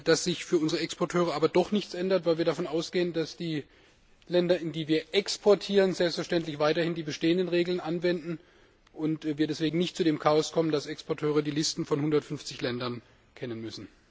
dass sich für unsere Exporteure aber doch nichts ändert, weil wir davon ausgehen, dass die Länder, in die wir exportieren, selbstverständlich weiterhin die bestehenden Regeln anwenden und wir deswegen nicht zu dem Chaos kommen, dass Exporteure die Listen von 150 Ländern kennen müssen?